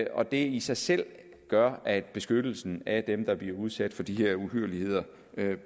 og det i sig selv gør at beskyttelsen af dem der bliver udsat for de her uhyrligheder